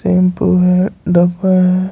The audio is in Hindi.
शैंपू है डब्बा है।